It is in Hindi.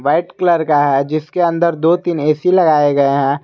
व्हाइट कलर का है जिसके अंदर दो तीन ए_सी लगाए गए हैं।